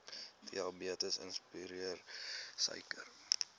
diabetes insipidus suiker